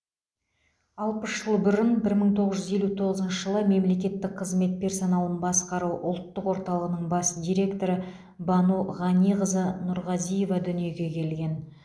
алпыс жыл бұрын бір мың тоғыз жүз елу тоғызыншы жылы мемлекеттік қызмет персоналын басқару ұлттық орталығының бас директоры бану ғаниқызы нұрғазиева дүниеге келген